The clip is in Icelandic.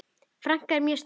Frænka er mjög stolt.